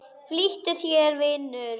Flýttu þér, vinur.